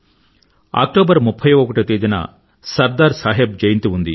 October 31 వ తేదీన సర్దార్ సాహెబ్ జయంతి ఉంది